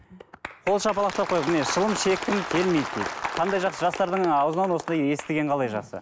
қол шапалақтап қояйық міне шылым шеккім келмейді дейді қандай жақсы жастардың аузынан осындай естіген қалай жақсы